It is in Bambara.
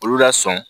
Olu la sɔn